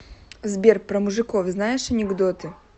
сбер про мужиков знаешь анекдоты